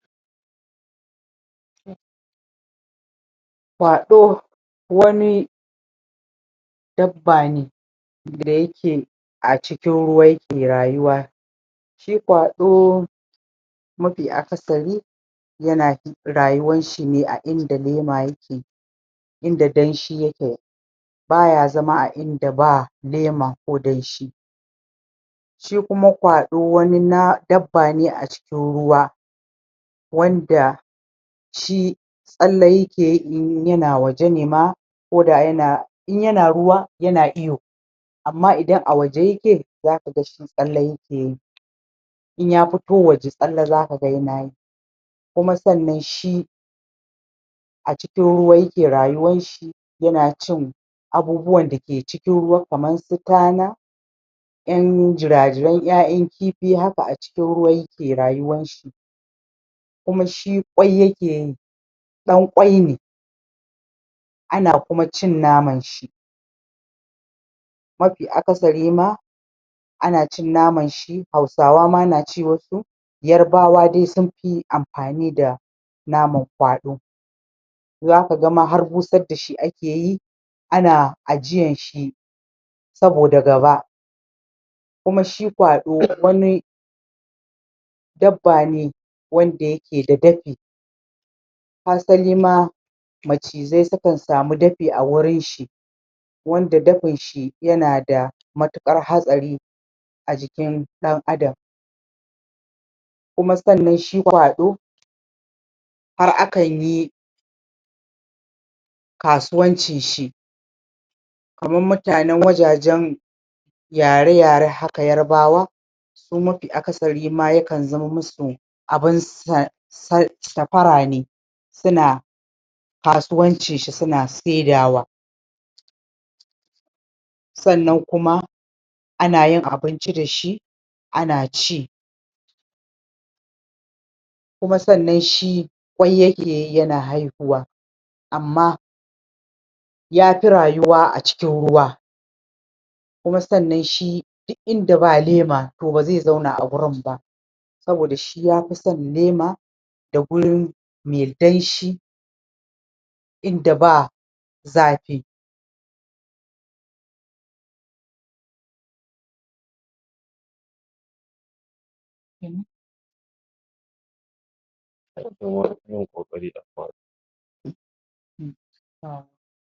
Kwaɗo wani dabba ne da yike a cikin ruwa yike rayuwa. Shi kwaɗo, mafi akasari yana rayuwan shi a inda lema yake, inda lema yike, baya zama a inda ba lema ko danshi. Shi kuma kwaɗo dabbab ne a cikin ruwa, wanda shi tsalle yike yi in yana waje ne ma, ko da yana in yana ruwa yana iyo, amma idan a waje yike za kaga shi tsalle yikeyi. In ya fito waje tsalle za kaga yinayi, kuma sannan shi a cikin ruwa yike rayuwar shi, yana cin abubuwan da ke cikin ruwa, kamar su tana, ƴan jira-jiran ƴaƴan kifi haka, a cikin ruwa yike rayuwan shi, kuma shi ƙwai yakeyi, ɗan ƙwai ne, ana kuma shin naman shi. Mafi akasari ma, ana cin naman shi, hausawa ma na ci wasu, yarbawa dai sun fi amfani da naman kwaɗo, zaku ga ma har busar dashi akeyi, ana ajiyan shi saboda gaba. Kuma shi kwaɗo wani dabba ne wanda yake da dafi, hasali ma macizai su kan sami dafi a wurin shi. Wanda dafin shi yana da matuƙar hatsari a jikin ɗan adam, kuma sannan shi kwaɗo, har akan yi kasuwancin shi, kaman mutanen wajajen yare-yare haka, yarbawa, su mafi akasari ma yakan zaman musu safara ne, suna kasuwancin shi, suna sa Sannan kuma ana yin abinci dashi, ana ci. Kuma sannan, ƙwai yakeyi yana haihuwa. Amma yafi rayuwa a cikin ruwa, kuma sannan shi duk inda ba lema, to ba zai zauna a wurin ba. Saboda shi yafi son lema, da gurin me danshi, inda ba zafi.